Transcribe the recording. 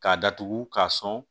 K'a datugu k'a sɔn